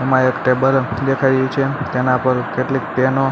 આમા એક ટેબલ દેખાઇ રહ્યુ છે તેના પર કેટલીક પેનો--